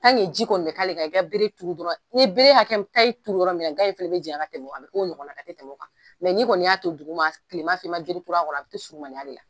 ji kɔni bɛ ka k'a kan, i bɛ bere turu dɔrɔnw, ni bere hakɛ, n'i ye bere turu, gan in fana bɛ janya ka tɛmɛ o kan, a bɛ kɛ o ɲɔgɔna hakɛ, a tɛ tɛmɛ o kan mɛ n'i kɔni y'a kɛ dugu ma, i ma bere turu a kɔrɔ, a bɛ toɲsurumaniya de la.